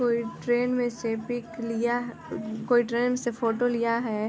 कोई ट्रेन में से पिक लिया कोई ट्रेन में से फोटो लिया है।